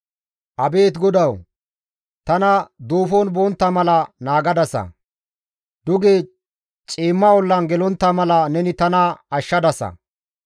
Abeet GODAWU! Tana duufon bontta mala naagadasa; duge ciimma ollan gelontta mala neni tana ashshadasa.